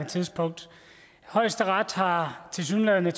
tidspunkt højesteret har tilsyneladende